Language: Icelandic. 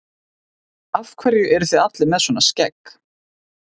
Af hverju eruð þið allir með svona skegg?